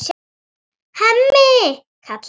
Hemmi, kallar hún.